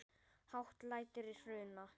Hátt lætur í Hruna